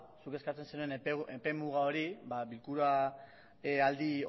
zuk eskatzen zenuen epe muga hori bilkura aldi